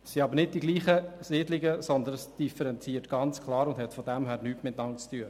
Das betrifft aber nicht dieselben Siedlungen, sondern differenziert ganz klar und hat daher nichts miteinander zu tun.